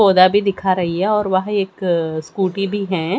पौधा भी दिखा रही हैं और वहां एक स्कूटी भी है।